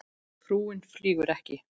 Frúin flýgur ekki